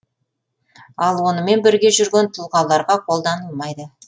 ал онымен бірге жүрген тұлғаларға қолданылмайды